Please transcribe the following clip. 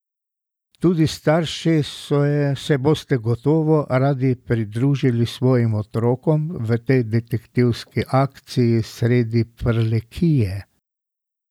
Tudi starši se boste gotovo radi pridružili svojim otrokom v tej detektivski akciji sredi Prlekije!